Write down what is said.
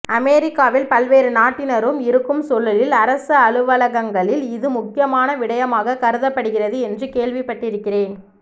அமெரிக்காவில் பல்வேறு நாட்டினரும் இருக்கும் சூழலில் அரசு அலுவலங்களில் இது முக்கியமான விடயமாக கருதப்படுகிறது என்று கேள்விப்பட்டிருக்கிறேன்